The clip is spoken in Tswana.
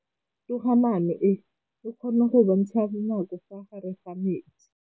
Toga-maanô e, e kgona go bontsha nakô ka fa gare ga metsi.